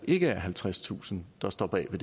ikke er halvtredstusind der står bag så